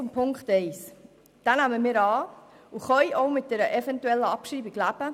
Die Ziffer 1 nehmen wir an und können auch mit einer Abschreibung leben.